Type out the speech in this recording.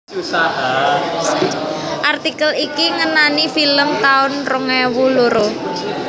Artikel iki ngenani film taun rong ewu loro